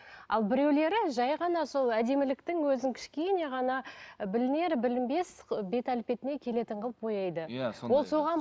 ал біреулері жай ғана сол әдеміліктің өзін кішкене ғана білінер білінбес ы бет әлпетіне келетін қылып бояйды ол соған